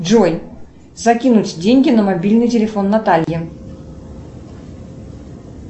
джой закинуть деньги на мобильный телефон натальи